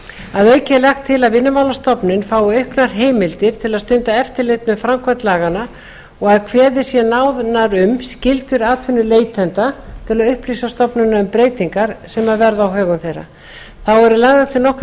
að auki er lagt til að vinnumálastofnun fái auknar heimildir til að stunda eftirlit með framkvæmd laganna og að kveðið sé nánar á um skyldur atvinnuleitenda til að upplýsa stofnunina um breytingar sem verða á högum þeirra þá eru lagðar til nokkrar